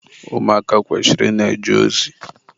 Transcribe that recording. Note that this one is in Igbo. Ụmụaka kwesịrị ị na-eje ozi.